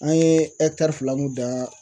An ye fila mun dan